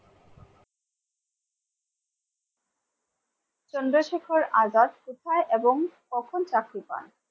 চন্দ্রশেখর আজাদ কোথায় এবং কখন চাকরি পান?